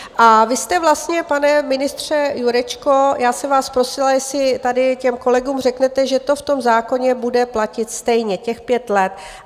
A vy jste vlastně, pane ministře Jurečko, já jsem vás prosila, jestli tady těm kolegům řeknete, že to v tom zákoně bude platit stejně, těch pět let.